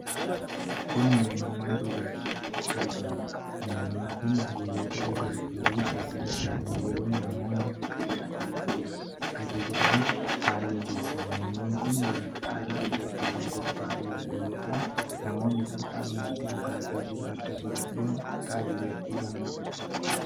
Kun meenuu mana dhugaatiitti argamuudha. Meenuun kun gosoota dhugaati fi gatii isaanii eeruun namoonni akka ilaalanii ajajatan haala mijeessa. Meenuun kun waraqaa adii irratti kan qophaaye yoo ta'u, namoonni salphaatti dhugaatii jiru adda baasuun ajajachuu danda'u.